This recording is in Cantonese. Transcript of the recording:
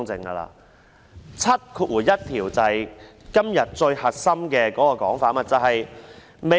第71條便是今天最核心的問題。